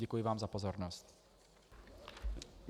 Děkuji vám za pozornost.